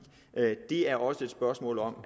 det er også et spørgsmål om